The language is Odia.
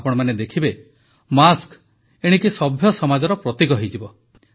ଆପଣମାନେ ଦେଖିବେ ମାସ୍କ ଏଣିକି ସଭ୍ୟ ସମାଜର ପ୍ରତୀକ ହୋଇଯିବ